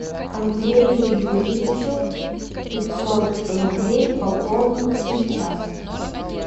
андрею юрьевичу пятьсот рублей пополнить сейчас